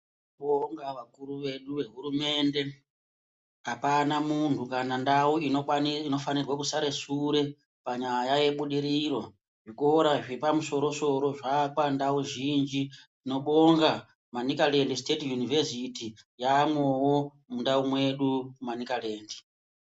Tinobonga vakuru vedu vehurumende. Hapana vantu kana ndau inofanirwe kusare shure panyaya yebudiriro. Zvikora zvepamushoro shoro zvaa pandau zhinji. Tinobonga Manikalend Siteti Yunivhesiti yaamwowo mundau mwedu, Manikalend.